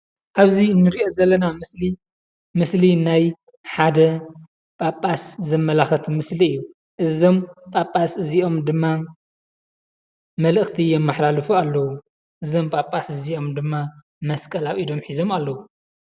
ኣብዚ ንሪኦ ዘለና ምስሊ ምስሊ ናይ ሓደ ጳጳስ ዘመላኽት ምስሊ እዩ። እዞም ጳጳስ እዚኦም ድማ መልአኽቲ የመሓላልፉ ኣለዉ። እዞም ጳጳስ እዚኦም ድማ መስቀል ኣብ ኢዶም ሒዞም ኣለዉ።